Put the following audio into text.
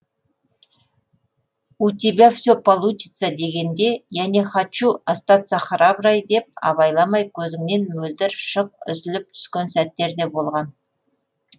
у тебя все получится дегенде я не хочу остаться храброй деп абайламай көзіңнен мөлдір шық үзіліп түскен сәттер де болған